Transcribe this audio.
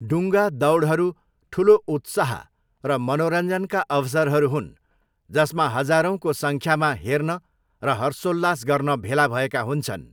डुङ्गा दौडहरू ठुलो उत्साह र मनोरञ्जनका अवसरहरू हुन् जसमा हजारौँको सङ्ख्यामा हेर्न र हर्षोल्लास गर्न भेला भएका हुन्छन्।